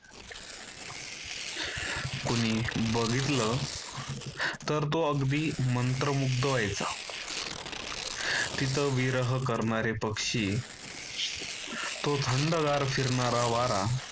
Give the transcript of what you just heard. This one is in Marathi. कोणी बघितलं तर तो अगदी मंत्रमुग्ध व्हायचा. तिथं विरह करणारे पक्षी. तो थंडगार फिरणारा वारा.